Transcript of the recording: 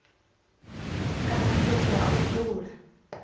kana fhethu ha u dzula